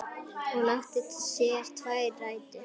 Hún átti sér tvær rætur.